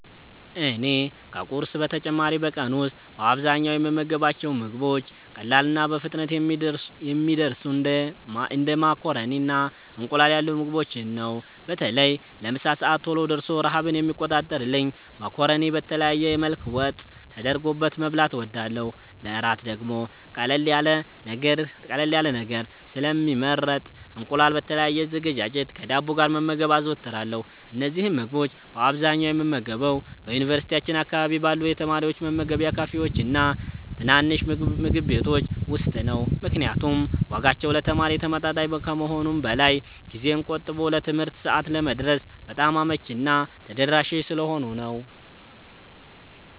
እኔ ከቁርስ በተጨማሪ በቀን ውስጥ በአብዛኛው የምመገባቸው ምግቦች ቀላልና በፍጥነት የሚደርሱ እንደ ማካሮኒና እንቁላል ያሉ ምግቦችን ነው። በተለይ ለምሳ ሰዓት ቶሎ ደርሶ ረሃብን የሚቆርጥልኝን ማካሮኒ በተለያየ መልክ ወጥ ተደርጎበት መብላት እወዳለሁ። ለእራት ደግሞ ቀለል ያለ ነገር ስለሚመረጥ እንቁላል በተለያየ አዘገጃጀት ከዳቦ ጋር መመገብ አዘወትራለሁ። እነዚህን ምግቦች በአብዛኛው የምመገበው በዩኒቨርሲቲያችን አካባቢ ባሉ የተማሪዎች መመገቢያ ካፌዎችና ትናንሽ ምግብ ቤቶች ውስጥ ነው፤ ምክንያቱም ዋጋቸው ለተማሪ ተመጣጣኝ ከመሆኑም በላይ ጊዜን ቆጥቦ ለትምህርት ሰዓት ለመድረስ በጣም አመቺና ተደራሽ ስለሆኑ ነው።